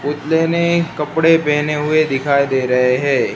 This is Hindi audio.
पुतले ने कपड़े पहने हुए दिखाई दे रहे हैं।